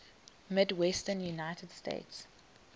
midwestern united states